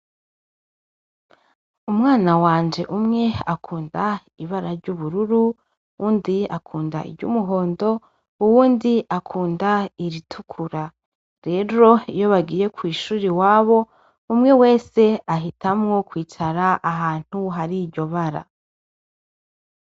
Umwana wanje umwe akunda ibara ry'ubururu, uwundi akunda iry'umuhondo, uwundi akunda iritukura. Rero iyo bagiye kw'ishure iwabo, umwe wese ahitamwo kwicara ahantu hari iryo bara.